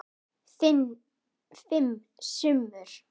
Fimm sumur